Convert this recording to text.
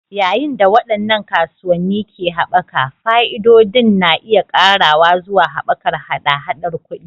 Yayin da waɗannan kasuwanni ke haɓaka, fa'idodin na iya ƙarawa zuwa haɓakar haɗa-haɗar kuɗi.